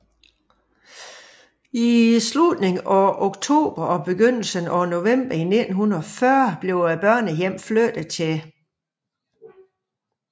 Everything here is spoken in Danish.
I slutningen af oktober og begyndelsen af november 1940 blev børnehjemmet flyttet til ul